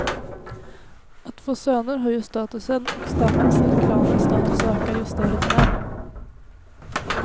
Att få söner höjer statusen, och stammens eller klanens status ökar, ju större den är.